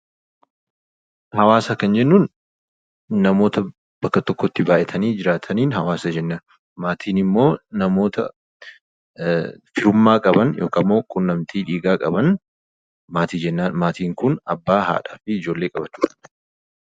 Haawaasa kan jennuun namoota bakka tokkotti baay'atanii jiraataniin 'Haawaasa' jennaan. Maatiin immoo namoota firummaa qaban yookaan immoo quunnamtii dhiigaa qaban 'Maatii' jennaan. Maatiin kun Abbaa, Haadhaa fi Ijoollee qaba jechuu dha.